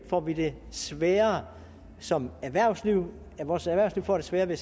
får vi det sværere som erhvervsliv vores erhvervsliv får sværere ved